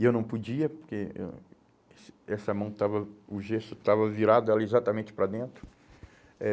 E eu não podia, porque ãh esse essa mão estava, o gesso estava virado era exatamente para dentro. Eh